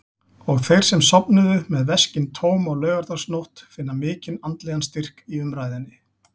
Og þeir sem sofnuðu með veskin tóm á laugardagsnótt finna mikinn andlegan styrk í umræðunni.